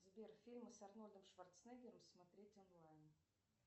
сбер фильмы с арнольдом шварцнегером смотреть онлайн